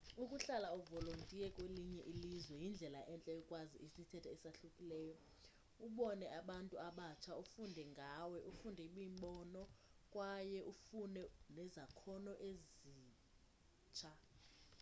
ukuhlala uvolontiye kwelinye ilizwe yindlela entle yokwazi isithethe esahlukileyo ubone abantu abatsha ufunde ngawe ufumane imbono kwaye ufuname nezakhono ezitsha